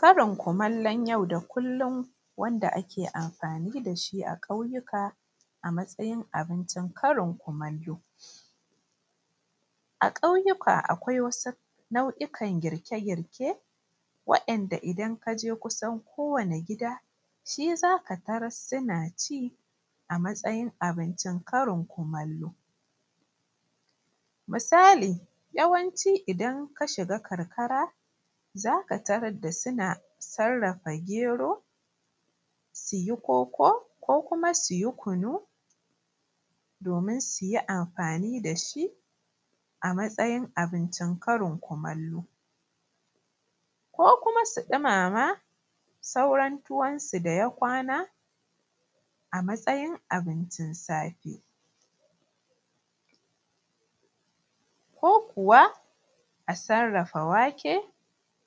Karin kumallon yau da kullum wanda ake amfani da shi a ƙauyuka a matsayin abincin karin kumallo. A ƙauyuka akwai wasu nau’ikan girke-girke wa’inda idan ka je kusan kowane gida shi zaka taras suna ci a matsayin abincin karin kumallo. Misali, yawanci idan ka shiga karkara zaka tarar da suna sarrafa gero su yi koko ko kuma su yi kunu domin su yi amfani da shi a matsayin abincin karin kumallo, ko kuma su ɗumama sauran tuwon su da ya kwana a matsayin abincin safe. Ko kuwa a sarrafa wake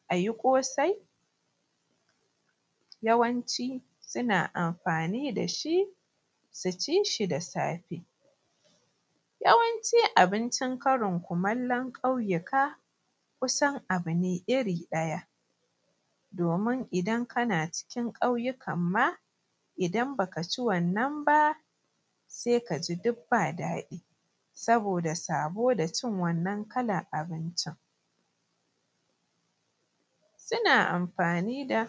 a yi ƙosai, yawanci suna amfani da shi su ci shi da safe. Yawanci abincin karin kumallon ƙauyuka kusan abu ne iri ɗaya, domin idan kana cikin ƙauyukan ma idan baka ci wannan ba sai ka ji duk ba daɗi saboda sabo da cin wannan kalar abincin. Suna amfani da.